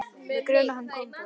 Mig grunar að hann komi bráðum.